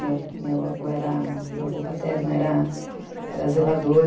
Meu avô paterno era zelador.